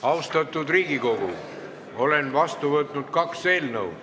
Austatud Riigikogu, olen vastu võtnud kaks eelnõu.